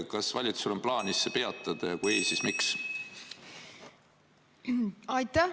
Kas valitsusel on plaanis see peatada ja kui ei, siis miks?